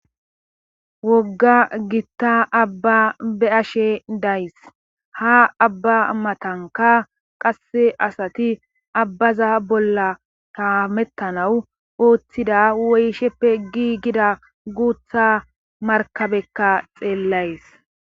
Wogga gitta abba be'ashe days ha abba matanka qasse asati abbaza bolla haamettanawu ooththida woyisheppe giigida guuththa markabekka xeellays